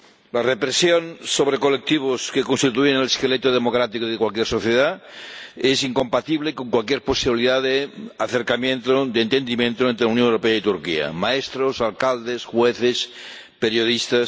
La represión de colectivos que constituyen el esqueleto democrático de cualquier sociedad es incompatible con cualquier posibilidad de acercamiento, de entendimiento, entre la Unión Europea y Turquía maestros, alcaldes, jueces, periodistas...